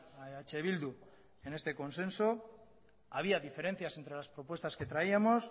a eh bildu en este consenso había diferencias entre las propuestas que traíamos